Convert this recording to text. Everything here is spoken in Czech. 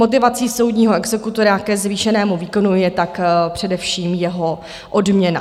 Motivací soudního exekutora ke zvýšenému výkonu je tak především jeho odměna.